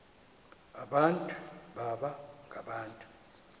abantu baba ngabantu